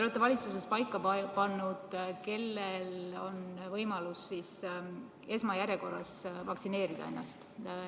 Te olete valitsuses paika pannud, kellel on võimalus esmajärjekorras ennast vaktsineerida.